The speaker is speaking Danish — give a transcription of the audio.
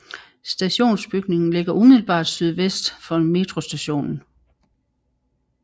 Stationsbygningen ligger umiddelbart sydvest for metrostationen